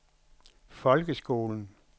folkeskolen